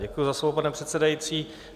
Děkuji za slovo, pane předsedající.